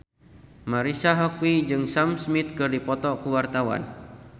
Marisa Haque jeung Sam Smith keur dipoto ku wartawan